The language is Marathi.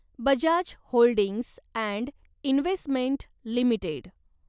Bajaj holdings and investment limited